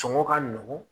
Sɔngɔ ka nɔgɔn